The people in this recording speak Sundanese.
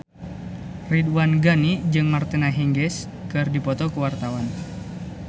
Ridwan Ghani jeung Martina Hingis keur dipoto ku wartawan